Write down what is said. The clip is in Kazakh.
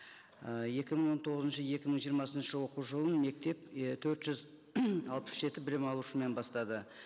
і екі мың он тоғызыншы екі мың жиырмасыншы оқу жылы мектеп төрт жүз алпыс жеті білім алушымен бастады